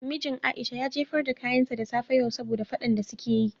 Mijin Aisha ya jefar da kayanta da safe yau saboda fadan de su ke yin.